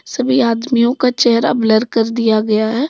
सभी आदमियों का चेहरा ब्लर कर दिया गया है।